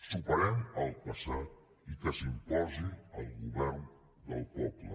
superem el passat i que s’imposi el govern del poble